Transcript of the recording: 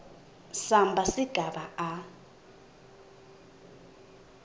samba sigaba a